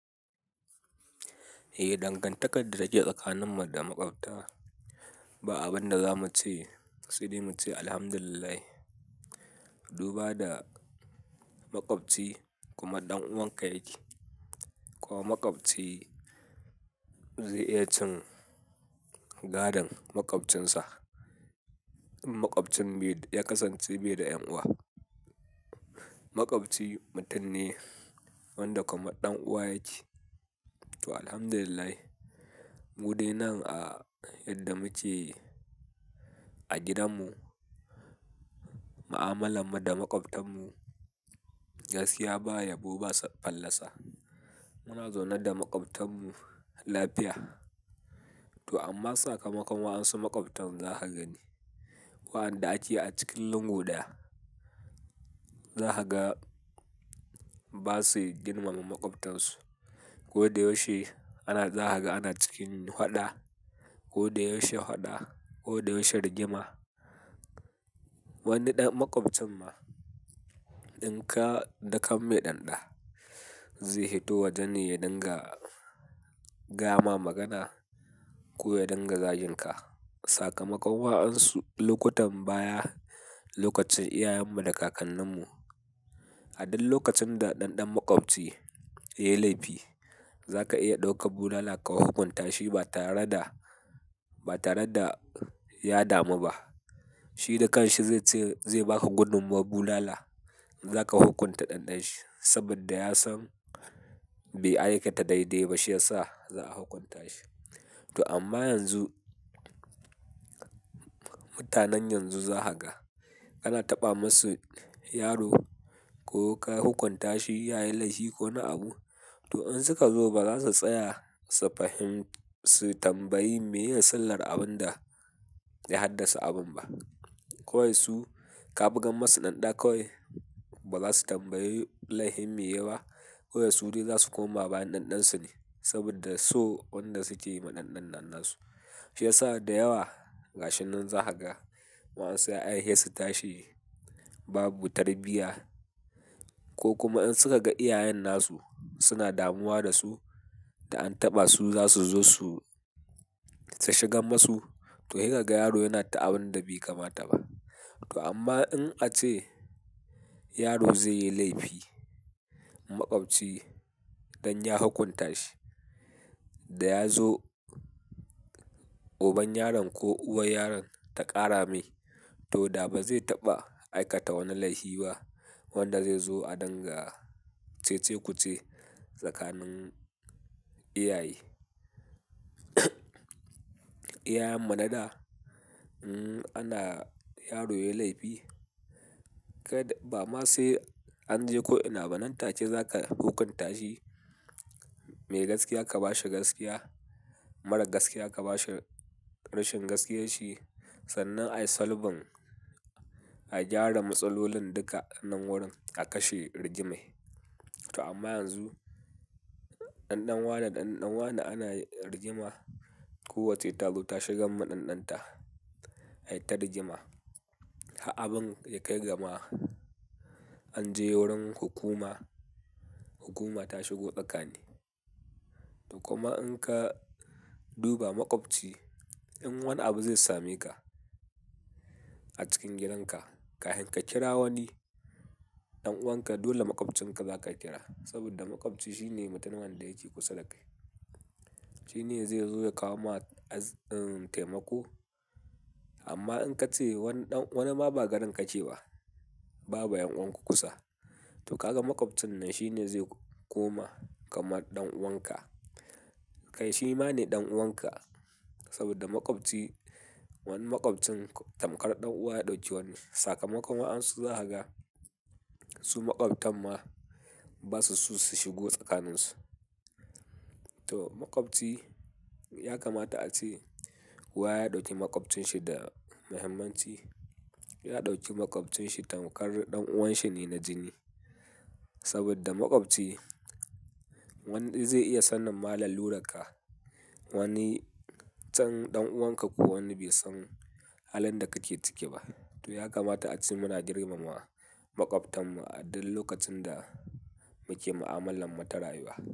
Eh, dangantakar da ta ke tsakaninmu da maƙwabta ba abin da zamu ce, sai da muce alhamdulillah. Duba da maƙwabci kuma ɗan uwanka yake, ko maƙwabci zai iya cin gadon maƙwabcinsa. In maƙwabcin ya kasance bai da ƴan uwa. Maƙwabci mutum ne wanda kama ɗan uwa yake. To alhamdulillah, mu dai nan a yadda muke a gidanmu, ma'amalar mu da maƙwabtan mu gaskiya baya bo ba fallasa. Muna zaune da maƙwabtan mu lafiya. To amma sakamakon wa'ansun maƙwabtan zaka gani, waɗanda ake a cikin lungu daya, zakaga ba su girmama maƙwabtansu. Ko da yaushe ana zakaga, ana cikin haɗa. Ko da yaushe haɗa, ko da yaushe rigima. Wani ɗan maƙwabcin ma, in ka daka mai ɗanɗa, zai hito wajen ka ya dinga gayama magana ko ya dinga zajin ka. Sakamakon wa'ansu lokutan baya, lokacin iyayenmu da kakanninmu, a duk lokacin da ɗanɗan maƙwabci ya yi laifi, za ka iya ɗaukar bulala ka hukunta shi ba tare da, ba tare da ya damu ba. Shi da kanshi zai ce zai ba ka gudummawar bulala, za ka hukunta ɗanɗan shi. Saboda ya san bai aikata dai-dai ba, shiyasa za a hukunta shi. To amma yanzu, mutanen yanzu zakaga kana taɓa masu yaro ko ka hukunta shi ya yi laifi ko wani abu, to in suka zo ba za su tsaya su fahimci tambayi me yin silar abin da ya haddasa abun ba. Kawai su ka buga masu ɗanɗa kawai ba za su tambayi laifin me yai ba, kawai su dai za su koma bayan ɗanɗansu ne. Saboda so wanda suke yi ma ɗanɗan nan su. Shiyasa da yawa gashin nan zahaga wa'ansu ya yi he tashi, babu tarbiyya ko kuma in suka ga iyayen nasu suna damuwa da su da an taɓa su, za su zo su shigar masu. To, he kaga yaro yana ta abin da bai kamata ba. To amma in ace yaro zai yi laifi, maƙwabci dan ya hukunta shi, da ya zo uban yaron ko uwar yaron ta ƙara mai, to da bazai taɓa aikata wani laifi ba. Wanda zai zo a dinga cece-kuce tsakanin iyaye. Iyayenmu na da, hmm, ana yaro ya yi laifi, kad-- bama sai an je ko ina ba. Nan take za ka hukunta shi. Me gaskiya ka bashi gaskiya, marar gaskiya ka bashi rashin gaskiyanshi. Sannan a yi salbin, a gyara matsalolin duka nan wurin, a kashe rigimai. To amma yanzu, ɗanɗan wane da ɗanɗan wa ne ana rigima. Ko wacce ta zo ta shiga ma ɗanɗan ta, ai ta rigima. Ha abun ya kai gama an je wurin hukuma, hukuma ta shigo tsakani. To kuma in ka duba maƙwabci, in wani abu zai same ka a cikin gidan ka, ka hin ka kira wani ɗan'uwan ka, dole maƙwabcinka za ka kira. Saboda maƙwabci shine mutumin wanda yake kusa da kai. Shine zai zo ya kawo ma az-- taimako. Amma in ka ce wanda, wanda ma ba garin ka ce ba, babu ƴan'uwanka kusa, to kaga maƙwabcin nan shine zai koma kamar ɗan'uwan ka. Kai shi ma ne ɗan'uwan ka. Saboda maƙwabci, wani maƙwabcin tamkar ɗan'uwa ya ɗauki wani. Sakamakon wa'ansu zakaga, su maƙwabtan ma basu so su shigo tsakaninsu. To maƙwabci ya kamata ace kowa ya ɗauki maƙwabcinsa da muhimmanci. Ya ɗauki maƙwabcinsa tamkar ɗan'uwan shi ne na jini. Saboda maƙwabci wanda zai iya sanin ma lalura ka. Wani can ɗan'uwan ka ko wanda bai san halin da kake ciki ba. To ya kamata ace muna girmama maƙwabtan mu a duk lokacin da muke ma'amalar mu ta rayuwa.